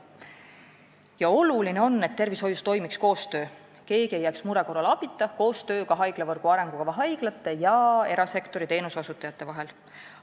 Ja oluline on, et tervishoius toimiks koostöö – keegi ei jääks mure korral abita –, sealjuures haiglavõrgu arengukava haiglate ja erasektori teenuseosutajate vahel.